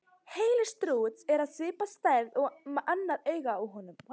Heili strúts er af svipaði stærð og annað augað á honum.